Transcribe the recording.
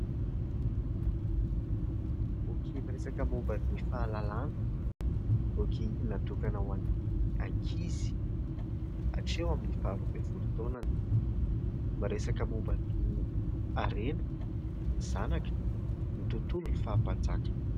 Boky miresaka momba ny fahalalana, boky natokana ho an'ny ankizy hatreho amin'ny faharoa amby folo taonany, miresaka momba ny harena, ny zanaka, ny tontolo ny faha-mpanjaka.